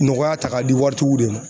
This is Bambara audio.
Nɔgɔya ta ka di waritigiw de ma.